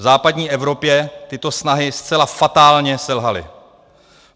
V západní Evropě tyto snahy zcela fatálně selhaly.